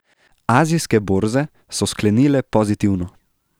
Azijske borze so sklenile pozitivno.